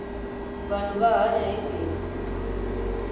vanhu va hanya hi bindzu